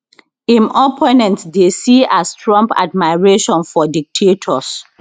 im opponents dey see as trump admiration for dictators